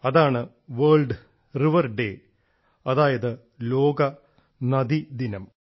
അതാണ് world river day അതായത് ലോക നദി ദിനം